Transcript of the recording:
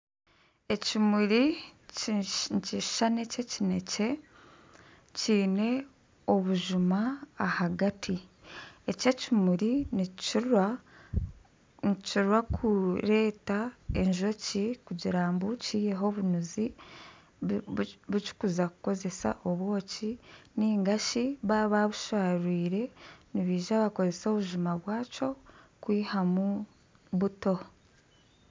Ekimuri eky'erangi ya kinekye kiine obujuma ahagati eki ekimuri nikikira kureeta enjoki ahagati kugira ngu eihemu omweyangye kuza kukoramu obwoki ningashi baba babusharwiire nibaija bakoresa obujuma bwakyo kwihamu buto.